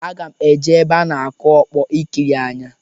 Aga m eje ebe a na-akụ ọkpọ ikiri anya.